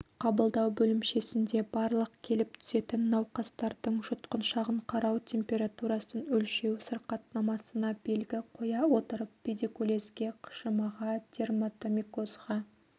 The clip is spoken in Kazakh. қабылдау бөлімшесінде барлық келіп түсетін науқастардың жұтқыншағын қарау температурасын өлшеу сырқатнамасына белгі қоя отырып педикулезге қышымаға дерматомикозға